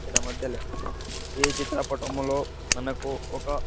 ఈడ మద్దలే ఈ చిత్రపటములో మనకు ఒక--